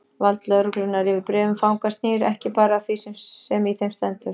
Vald lögreglunnar yfir bréfum fanga snýr ekki bara að því sem í þeim stendur.